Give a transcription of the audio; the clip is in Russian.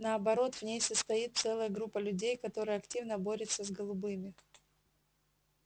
наоборот в ней состоит целая группа людей которая активно борется с голубыми